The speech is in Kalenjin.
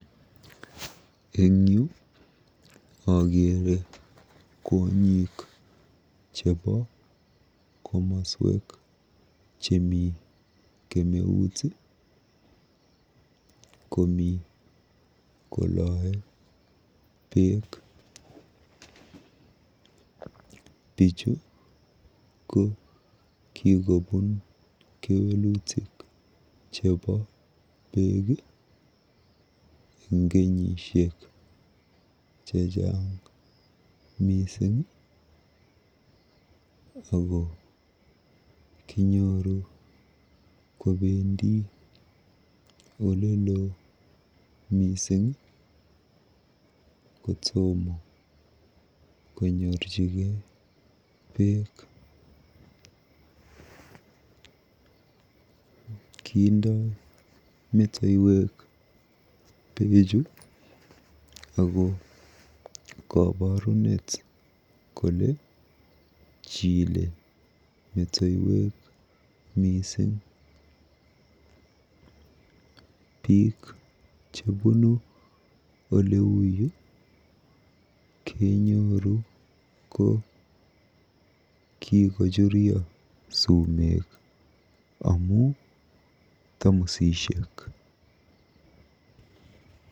Eng yu akeere kwonyik chebo komasta nemi kemeut komi koloe beek. Bichu ko kikobun kewelutik chebo beek eng kenyisiek chechang mising ako kenyoru kobendi olelo mising kotomo konyorchigei beek. Kindoi metoiwek beechu ako koborunet kole chile metoiwek mising . Biik chebunu oleuyu ko kenyoru kikochuryo sumek amu tamusisiek.